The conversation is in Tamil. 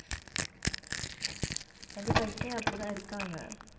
கண்டிப்பா, இப்பயும் அப்படித்தான் இருக்காங்க